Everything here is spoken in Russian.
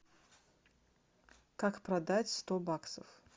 как продать сто баксов